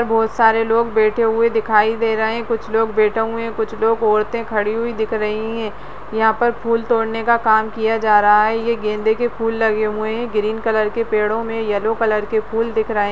बहोत सारे लोग बैठे हुए दिखाई दे रहें हैं कुछ लोग बैठे हुए हैं कुछ लोग औरते खड़ी हुई दिख रही है | यहाँ पर फूल तोड़ने का काम किया जा रहा है ये गेंदे के फूल लगे हुए हैं ग्रीन कलर के पेड़ों में येलो कलर के फुल दिख रहें --